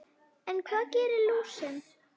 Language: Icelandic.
En hvað gerir lúsin?